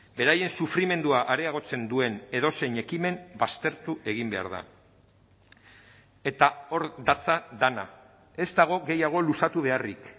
beraien sufrimendua areagotzen duen edozein ekimen baztertu egin behar da eta hor datza dena ez dago gehiago luzatu beharrik